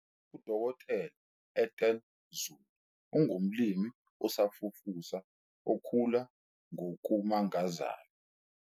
UDkt Ethel Zulu ungumlimi osafufusa okhula ngokumangazayo.